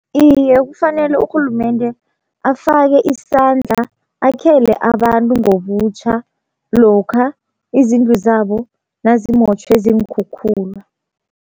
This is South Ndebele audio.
Iye kufanele urhulumende afake isandla akhele abantu ngobutjha, lokha izindlu zabo nazimotjhwe ziinkhukhula.